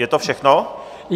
Je to všechno?